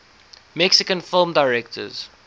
mexican film directors